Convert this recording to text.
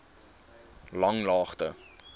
langlaagte